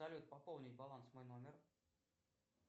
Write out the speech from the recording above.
салют пополнить баланс мой номер